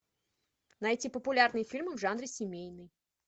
найти популярные фильмы в жанре семейный